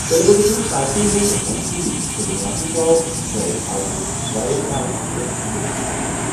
Telugu Desam party ہُنٛد M P N Srinivas Rao گوٚو اَز وایی ایس آر کانگریس منٛز شٲمِل۔